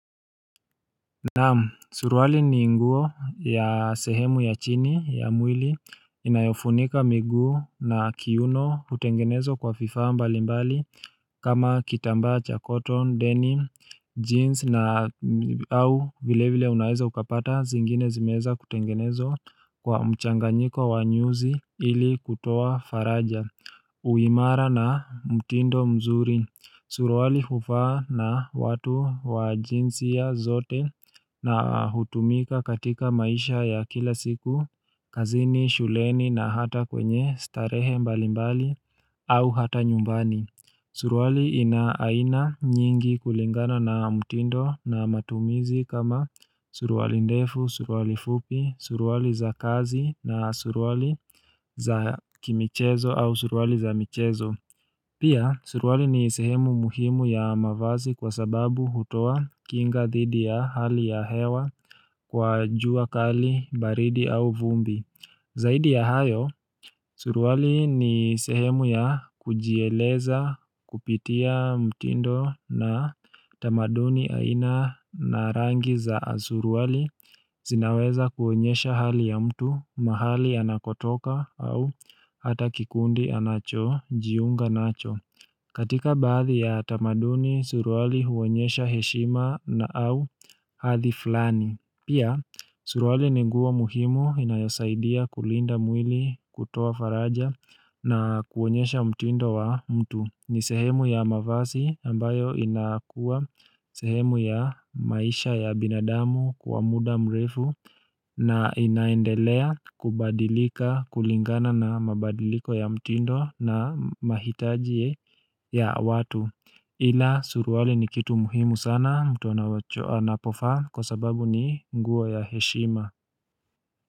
Naam suruali ni nguo ya sehemu ya chini ya mwili inayofunika miguu na kiuno hutengenezwa kwa vifaa mbali mbali kama kitambaa cha cotton denim jeans na au vile vile unaeza ukapata zingine zimeweza kutengenezwa kwa mchanganyiko wa nyuzi ili kutoa faraja Uimara na mtindo mzuri, suruali hufaa na watu wa jinsia zote na hutumika katika maisha ya kila siku, kazini, shuleni na hata kwenye starehe mbali mbali au hata nyumbani Suruali ina aina nyingi kulingana na mtindo na matumizi kama suruali ndefu, suruali fupi, suruali za kazi na suruali za kimichezo au suruali za michezo. Pia, suruali ni sehemu muhimu ya mavazi kwa sababu hutoa kinga thidi ya hali ya hewa kwa jua kali, baridi au vumbi. Zaidi ya hayo, suruali ni sehemu ya kujieleza kupitia mtindo na tamaduni aina na rangi za suruali zinaweza kuonyesha hali ya mtu mahali anakotoka au hata kikundi anacho, jiunga nacho. Katika baadhi ya tamaduni, suruali huonyesha heshima na au hadhi flani. Pia, suruali ni nguo muhimu inayosaidia kulinda mwili kutoa faraja na kuonyesha mtindo wa mtu. Ni sehemu ya mavazi ambayo inakuwa sehemu ya maisha ya binadamu kwa muda mrefu na inaendelea kubadilika kulingana na mabadiliko ya mtindo na mahitaji ya watu. Ila suruali ni kitu muhimu sana mtu anacho anapo vaa kwa sababu ni nguo ya heshima.